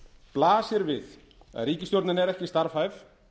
blasir við að ríkisstjórnin er ekki starfhæf